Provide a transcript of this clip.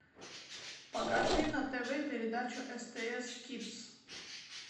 покажи на тв передачу стс кидс